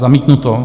Zamítnuto.